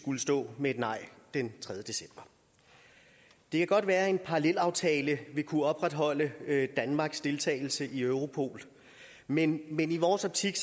skulle stå med et nej den tredje december det kan godt være at en parallelaftale vil kunne opretholde danmarks deltagelse i europol men men i vores optik